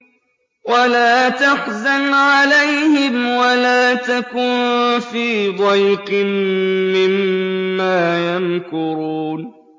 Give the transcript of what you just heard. وَلَا تَحْزَنْ عَلَيْهِمْ وَلَا تَكُن فِي ضَيْقٍ مِّمَّا يَمْكُرُونَ